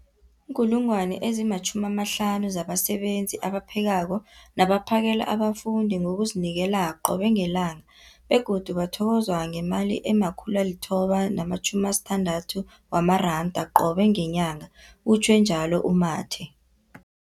50 000 zabasebenzi abaphekako nabaphakela abafundi ngokuzinikela qobe ngelanga, begodu bathokozwa ngemali ema-960 wamaranda qobe ngenyanga, utjhwe njalo u-Mathe.